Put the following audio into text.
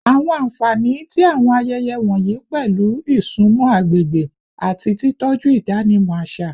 Awọn anfani ti awọn ayẹyẹ wọnyi pẹlu isunmọ agbegbe ati titọju idanimọ aṣa